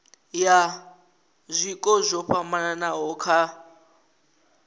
ha zwiko zwo fhambanaho kha